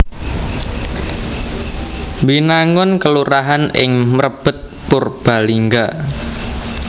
Binangun kelurahan ing Mrebet Purbalingga